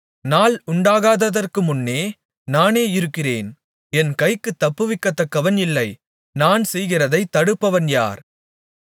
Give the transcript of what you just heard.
நாள் உண்டாகாததற்குமுன்னும் நானே இருக்கிறேன் என் கைக்குத் தப்புவிக்கத்தக்கவன் இல்லை நான் செய்கிறதைத் தடுப்பவன் யார்